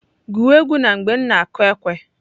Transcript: Gụwa egwu na mgbe m na-kụ ekwe!